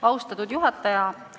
Austatud juhataja!